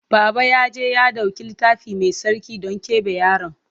Baba ya je ya ɗauki Littafi Mai Tsarki don keɓe yaron.